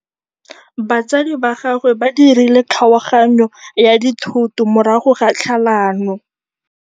Batsadi ba gagwe ba dirile kgaoganyô ya dithoto morago ga tlhalanô.